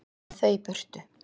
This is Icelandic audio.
Ég vil þau í burtu.